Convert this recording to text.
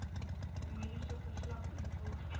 mediese verslag invul